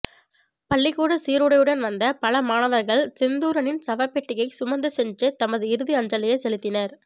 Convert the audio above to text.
பள்ளிக்கூட சீருடையுடன் வந்த பல மாணவர்கள் செந்தூரனின் சவப்பெட்டியை சுமந்துச் சென்று தமது இறுதி அஞ்சலியை செலுத்தினர்